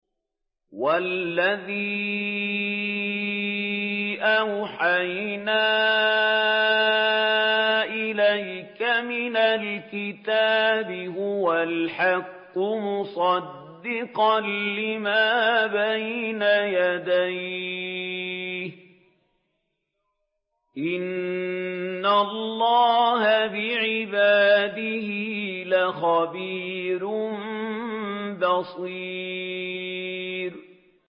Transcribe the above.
وَالَّذِي أَوْحَيْنَا إِلَيْكَ مِنَ الْكِتَابِ هُوَ الْحَقُّ مُصَدِّقًا لِّمَا بَيْنَ يَدَيْهِ ۗ إِنَّ اللَّهَ بِعِبَادِهِ لَخَبِيرٌ بَصِيرٌ